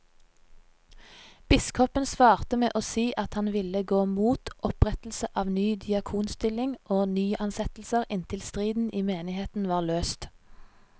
Biskopen svarte med å si at han ville gå mot opprettelse av ny diakonstilling og nyansettelser inntil striden i menigheten var løst.